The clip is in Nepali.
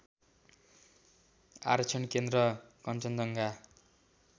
आरक्षण केन्द्र कन्चनजङ्गा